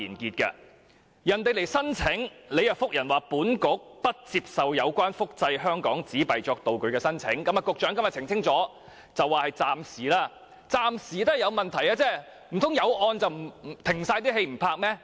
當有人提出申請，當局便回覆不接受有關複製香港紙幣作道具的申請，局長今天澄清，這是暫時的，但暫時也是有問題的，難道因為有案件便暫停所有拍攝嗎？